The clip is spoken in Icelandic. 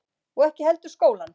Og ekki heldur skólann.